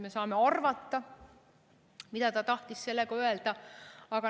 Me saame arvata, mida ta tahtis sellega öelda.